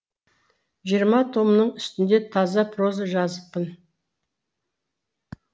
жиырма томның үстінде таза проза жазыппын